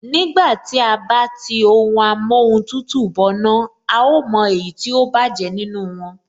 Nígbà tí à bá tí ohun amóhun tutù bọná, a ó mọ èyí tó bájẹ̀ nínú wọn